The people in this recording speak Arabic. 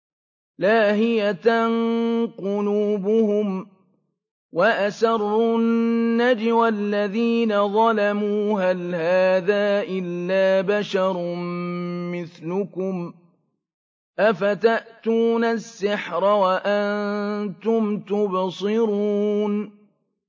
لَاهِيَةً قُلُوبُهُمْ ۗ وَأَسَرُّوا النَّجْوَى الَّذِينَ ظَلَمُوا هَلْ هَٰذَا إِلَّا بَشَرٌ مِّثْلُكُمْ ۖ أَفَتَأْتُونَ السِّحْرَ وَأَنتُمْ تُبْصِرُونَ